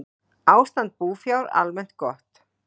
Ástand búfjár almennt gott